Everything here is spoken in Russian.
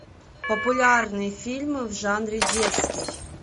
популярные фильмы в жанре детский